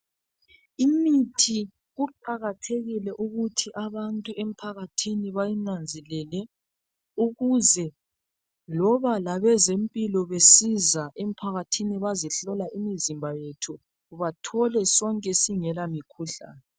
Imithi kuqakathekile ukuthi abantu emphakathini bayinanzelele ukuze loba labezempilo besiza emphakathini bazehlola imizimba yethu bathole sonke singela mikhuhlane